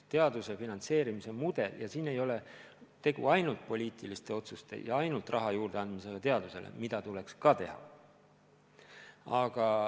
Teaduse finantseerimise mudeli puhul ei ole tegu ainult poliitiliste otsustega ja ainult teadusele raha juurde andmisega, mida tuleks muidugi ka teha.